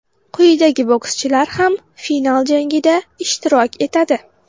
Quyidagi bokschilar ham final jangida ishtirok etadi: !